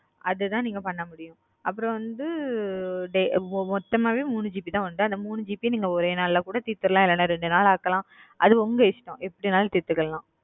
அதுத நீங்க பண்ண முடியும் அதுவந்து மொத்தமா உங்களுக்கு மூணு gb வரும் அத நீக்க மொத்தமா ஒரே நாள்கூட தித்தல